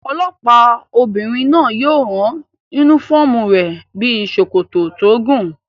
Olọ́pàá obìnrin náà yóò rán yúnífọ́ọ̀mù rẹ̀ bíi sòkòtò tó gùn